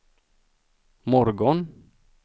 morgon